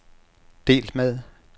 delt med